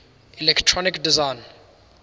electronic design